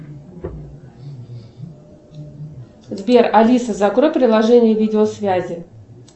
сбер алиса закрой приложение видеосвязи